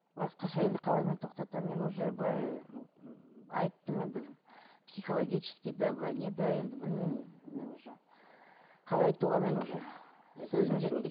басқаша енді қалай мен тоқтатамын мен уже былай айттым енді психологический да былай не да енді білмеймін мен уже қалай айтуға мен уже сөзім жетпейді